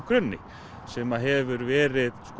grunni sem hefur verið